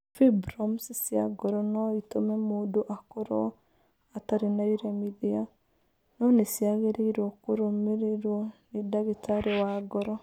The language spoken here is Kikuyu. Fibromes cia ngoro no itũme mũndũ akorũo atarĩ na iremithia, no nĩ ciagĩrĩirũo kũrũmĩrĩrũo nĩ ndagĩtarĩ wa ngoro.